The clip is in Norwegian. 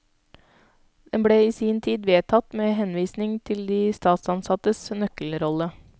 Den ble i sin tid vedtatt med henvisning til de statsansattes nøkkelrolle.